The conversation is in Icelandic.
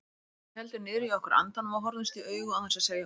Við héldum niðri í okkur andanum og horfðumst í augu án þess að segja orð.